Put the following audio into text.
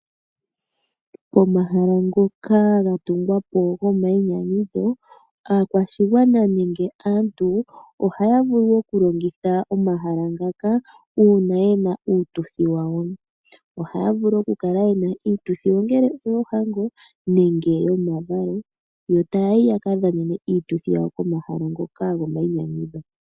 Pomahala ngoka ga tungwapo gomayinyanyudho aakwashigwana nenge aantu ohaya vulu okulongitha omahala ngaka uuna ye na uututhi wawo ohaya vulu ya kale ye na iituthi ongele oyoohango nenge yomavalo yo taya yi yaka dhanene iitudhi yawo komahala ngoka gomayinyanyudho.